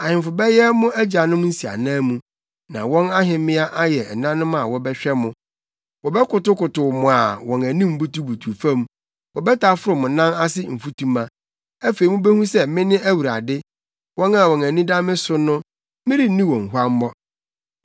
Ahemfo bɛyɛ mo agyanom nsiananmu, na wɔn ahemmea ayɛ ɛnanom a wɔbɛhwɛ mo. Wɔbɛkotow mo a wɔn anim butubutuw fam; wɔbɛtaforo mo nan ase mfutuma. Afei mubehu sɛ mene Awurade. Wɔn a wɔn ani da me so no, merenni wɔn huammɔ.”